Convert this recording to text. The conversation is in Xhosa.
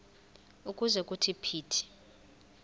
ukuze kuthi phithi